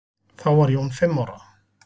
Þá var Jón fimm ára.